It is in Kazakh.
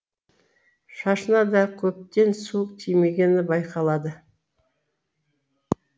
шашына да көптен су тимегені байқалады